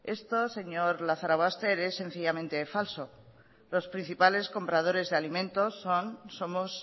esto señor lazarobaster es sencillamente falso los principales compradores de alimentos somos